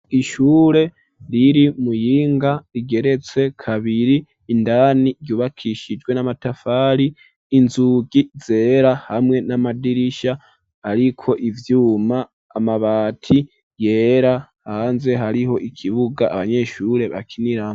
Ishure riri imuyinga rigeretse kabiri indani ryubakishijwe n'amatafari inzugi zera hamwe n'amadirisha ariko ivyuma amabati yera hanze hariho ikibuga abanyeshure bakiniraho.